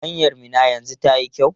Hanyar Minna yanzu tayi kyau?